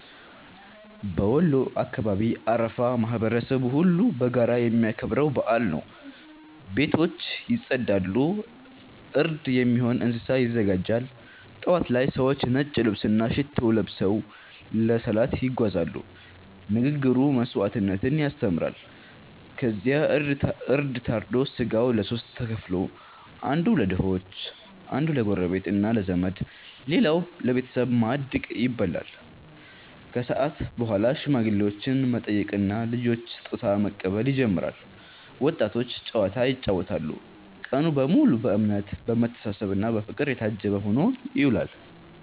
በወሎ አካባቢ አረፋ ማህበረሰቡ ሁሉ በጋራ የሚያከብረው በዓል ነው። ቤቶች ይጸዳሉ፣ እርድ የሚሆን እንስሳ ይዘጋጃል። ጠዋት ላይ ሰዎች ነጭ ልብስና ሽቶ ለብሰው ለሰላት ይጓዛሉ፤ ንግግሩ መስዋዕትነትን ያስተምራል። ከዚያ እርድ ታርዶ ሥጋው ለሦስት ተከፍሎ፦ አንዱ ለድሆች፣ አንዱ ለጎረቤትና ለዘመድ፣ ሌላው ለቤተሰብ ማዕድ ይበላል። ከሰዓት በኋላ ሽማግሌዎችን መጠየቅና ልጆች ስጦታ መቀበል ይጀምራል፤ ወጣቶች ጨዋታ ይጫወታሉ። ቀኑ በሙሉ በእምነት፣ በመተሳሰብና በፍቅር የታጀበ ሆኖ ይውላል።